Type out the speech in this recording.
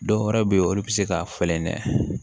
Dɔwɛrɛ be yen olu bi se ka falen dɛ